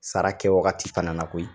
Sara kɛwagati fana na koyi